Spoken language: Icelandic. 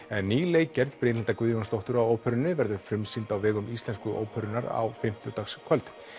en ný leikgerð Brynhildar Guðjónsdóttur á óperunni verður frumsýnd á vegum Íslensku óperunnar á fimmtudagskvöld